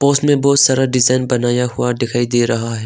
उसमें बहुत सारा डिजाइन बनाया हुआ दिखाई दे रहा है।